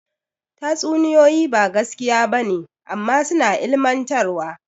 Tatsuniyoyi ba gaskiya ba ne amma suna ilmantarwa.